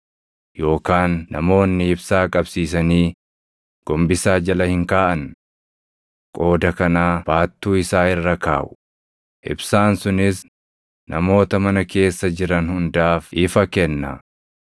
Yookaan namoonni ibsaa qabsiisanii gombisaa jala hin kaaʼan. Qooda kanaa baattuu isaa irra kaaʼu; ibsaan sunis namoota mana keessa jiran hundaaf ifa kenna.